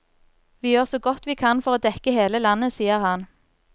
Vi gjør så godt vi kan for å dekke hele landet, sier han.